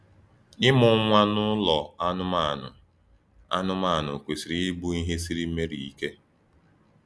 Ịmụ nwa n’ụlọ anụmanụ anụmanụ kwesịrị ịbụ ihe siri Meri ike.